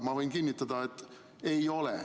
Ma võin kinnitada, et ei ole.